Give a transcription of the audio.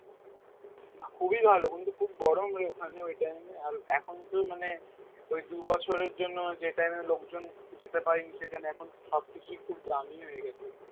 খুবই ভালো কিন্তু খুব গরম রে ওখানে ঐ time এ আর এখন তো মানে ঐ দুই বছরের জন্য যে time এ লোকজন যেতে পায়নি সেখানে এখন সব কিছুই খুব দামী হয়ে গেছে